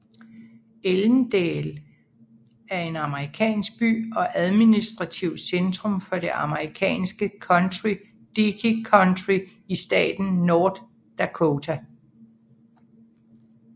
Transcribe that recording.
Ellendale er en amerikansk by og administrativt centrum for det amerikanske county Dickey County i staten North Dakota